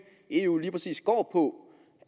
i eu lige præcis går på